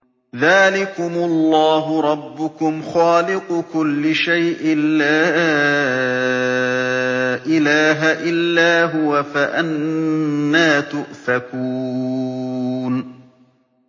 ذَٰلِكُمُ اللَّهُ رَبُّكُمْ خَالِقُ كُلِّ شَيْءٍ لَّا إِلَٰهَ إِلَّا هُوَ ۖ فَأَنَّىٰ تُؤْفَكُونَ